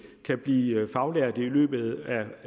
kan blive faglærte i løbet af